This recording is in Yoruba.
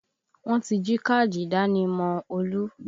Wọ́n ti jí káàdì ìdánimọ̀ Olú